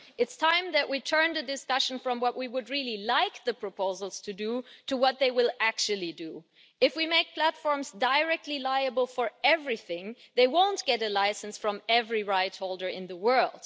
It is time that we turned the discussion away from what we would like the proposals to do, towards what they will actually do. If we make platforms directly liable for everything, they won't get a licence from every rightholder in the world.